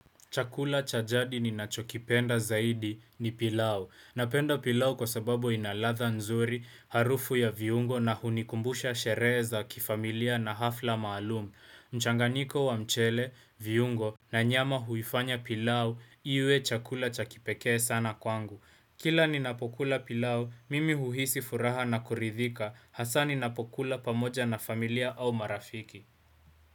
Chakula cha jadi ni nachokipenda zaidi ni pilau. Napenda pilau kwa sababu inaladha nzuri, harufu ya viungo na hunikumbusha sherehe za kifamilia na hafla maalumu. Mchanganyiko wa mchele, viungo na nyama huifanya pilau, iwe chakula chakipekee sana kwangu. Kila ni napokula pilau, mimi huhisi furaha na kuridhika. Hasa ni napokula pamoja na familia au marafiki.